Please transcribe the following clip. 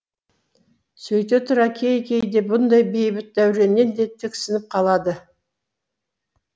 сөйте тұра кей кейде бұндай бейбіт дәуренінен де тіксініп қалады